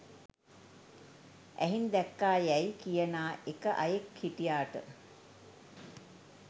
ඇහින් දැක්කා යැයි කියනා එක අයෙක් හිටියාට